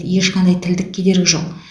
ешқандай тілдік кедергі жоқ